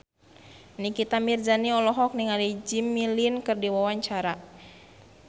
Nikita Mirzani olohok ningali Jimmy Lin keur diwawancara